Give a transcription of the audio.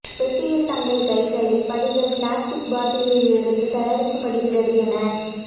பெட்டியில் தங்கள் கைகளை படிகள் பிளாஸ்டிக் பாட்டில்கள் இருந்து தயாரிக்கப்படுகிறது என